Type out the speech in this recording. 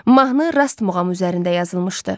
Mahnı Rast muğamı üzərində yazılmışdı.